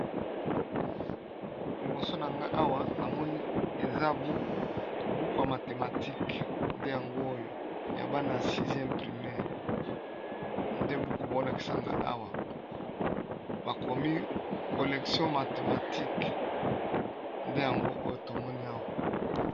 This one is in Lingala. Liboso na nga awa, namoni eza buku buku ya mathematike ; nde yango oyo ya bana ya 6e primere, nde buku baolakisa nga awa. Bakomi kolektion mathematique nde yango oyo tomoni awa.